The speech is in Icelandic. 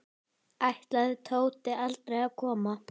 Ætlaði Tóti aldrei að koma?